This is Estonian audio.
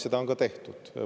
Seda on ka tehtud.